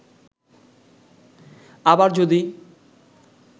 আবার যদি